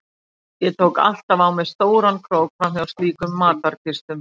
Ég tók alltaf á mig stóran krók fram hjá slíkum matarkistum.